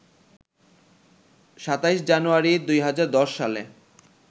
২৭ January ২০১০ সালে